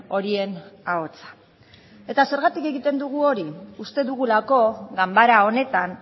horien ahotsa eta zergatik egiten dugu hori uste dugulako ganbara honetan